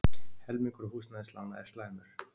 Helmingur húsnæðislána er slæmur